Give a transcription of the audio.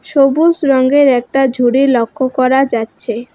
সবুজ রঙ্গের একটা ঝুড়ি লক্ষ্য করা যাচ্ছে।